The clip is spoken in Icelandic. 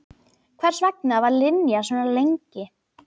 Hvers vegna var Linja svona lengi?